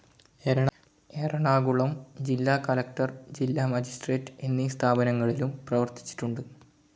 എറണാകുളം ജില്ലാകളക്ടർ, ജില്ലാ മജിസ്ട്രേറ്റ്‌ എന്നീ സ്ഥാനങ്ങളിലും പ്രവർത്തിച്ചിട്ടുണ്ട്.